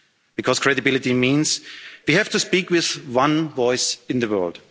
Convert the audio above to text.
Because credibility means that we have to speak with one voice in the